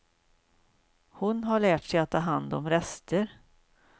Hon har lärt sig att ta hand om rester.